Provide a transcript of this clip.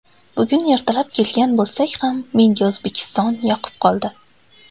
Bugun ertalab kelgan bo‘lsak ham menga O‘zbekiston yoqib qoldi.